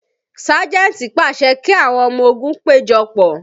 Sájẹ̀ntì pàṣẹ kí àwọn ọmọ ogun péjọpọ̀